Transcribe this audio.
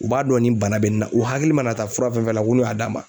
U b'a dɔn ni bana bɛ nin na u hakili mana taa fura fɛn fɛn na d'a ma.